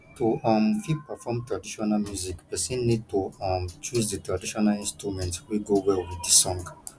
to um fit perform traditional music person need to um choose di traditional instrument wey go well with di song